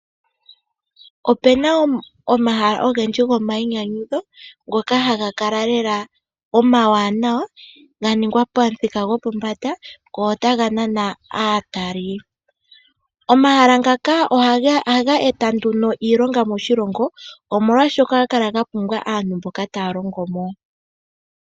Opena omahala ogendji gomainyanyudho ngoka haga kala lela omawanawa ganingwa pamuthika gwopombanda go otaga nana aatali. Omahala ngaka ohaga eta nduno iilonga moshilongo omolwaashoka ohaga kala gapumbwa aantu mboka taya longo mo.